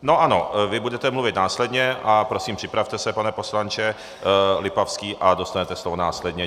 No ano, vy budete mluvit následně a prosím připravte se, pane poslanče Lipavský, a dostanete slovo následně.